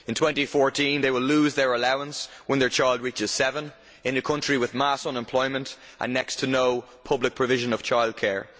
In 2014 they will lose their allowance when their child reaches seven, in a country with mass unemployment and next to no public provision of childcare.